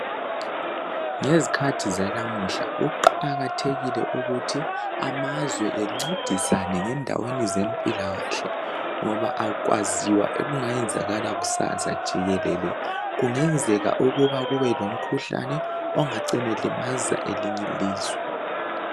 Ngezikhathi zanamuhla kuqakathekile ukuthi amazwe ancedisane ngendaweni zempilakahle ngoba akwaziwa okungayenzakala kusasa jikelele. Kungenzeka ukuba kubelomkhuhlane ongacina elimaza elinye ilizwe.